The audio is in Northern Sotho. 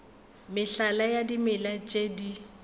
mehlala ya dimela tše di